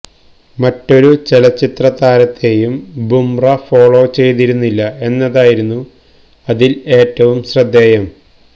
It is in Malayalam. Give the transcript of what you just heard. മറ്റൊരു ചലച്ചിത്ര താരത്തെയും ബുംറ ഫോളോ ചെയ്തിരുന്നില്ല എന്നതായിരുന്നു അതില് ഏറ്റവും ശ്രദ്ധേയം